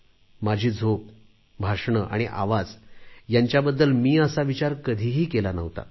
माझी झोप भाषणे आणि आवाज यांच्याबद्दल मी असा विचार कधी केला नव्हता